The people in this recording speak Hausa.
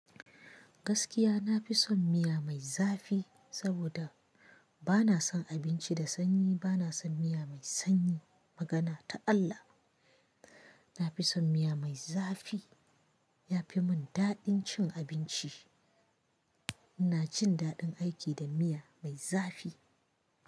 Gaskiya nafi son miya mai zafi, saboda bana son abinci da sanyi, bana son miya mai sanyi. Magana ta Allah, na fi son miya mai za fi. Ya fi mun daɗin cin abinci. Ina cin daɗin aiki da miya mai zafi.